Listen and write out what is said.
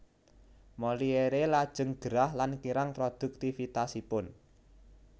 Molière lajeng gerah lan kirang produktivitasipun